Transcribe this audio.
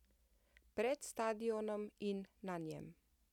Pred stadionom in na njem.